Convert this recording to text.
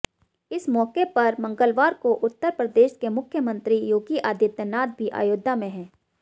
इस मौके पर मंगलवार को उत्तर प्रदेश के मुख्यमंत्री योगी आदित्यनाथ भी अयोध्या में हैं